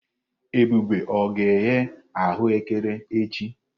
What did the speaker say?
Ebube ọ ga-eghe aghù ékẹrè echi?